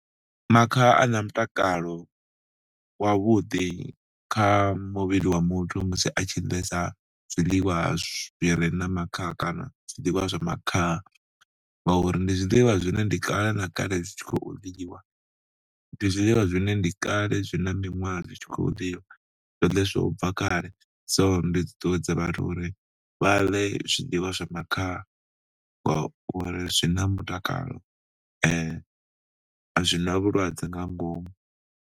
Makhaha a na mutakalo wavhuḓi kha muvhili wa muthu musi a tshi ḽesa zwiḽiwa zwi re na makhaha kana zwiḽiwa zwa makhaha ngauri ndi zwiḽiwa zwine ndi kale na kale dzi tshi khou liliwa, ndi zwiḽiwa zwine ndi kale zwi na miṅwaha zwi tshi khou ḽiwa, zwo ḽeswa u bva kale. So ndi ṱuṱuwedza vhathu uri vha ḽe zwiḽiwa zwa makhaha ngauri zwi na mutakalo, a zwi na vhulwadze nga ngomu.